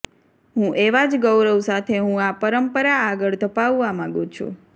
હું એવા જ ગૌરવ સાથે હું આ પરંપરા આગળ ધપાવવા માગુ છું